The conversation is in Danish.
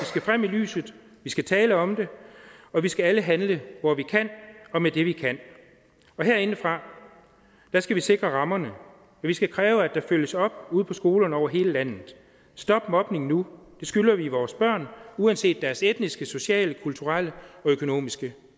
skal frem i lyset vi skal tale om det og vi skal alle handle hvor vi kan og med det vi kan herindefra skal vi sikre rammerne vi skal kræve at der følges op det ude på skolerne over hele landet stop mobningen nu det skylder vi vores børn uanset deres etniske sociale kulturelle og økonomiske